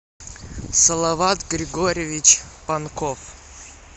салават григорьевич панков